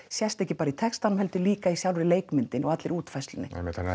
sést ekki bara í textanum heldur líka í sjálfri leikmyndinni og allri útfærslunni einmitt þannig